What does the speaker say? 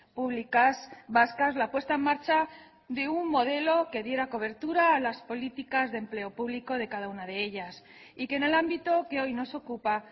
públicas vascas la puesta en marcha de un modelo que diera cobertura a las políticas de empleo público de cada una de ellas y que en el ámbito que hoy nos ocupa